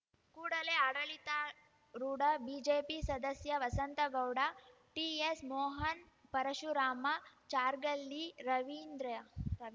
ಕೂಡಲೇ ಆಡಳಿತಾರೂಢ ಬಿಜೆಪಿ ಸದಸ್ಯ ವಸಂತಗೌಡ ಟಿಎಸ್‌ ಮೋಹನ್‌ ಪರಶುರಾಮ ಚಾರ್ಗಲ್ಲಿ ರವೀಂದ್ರ ರವಿ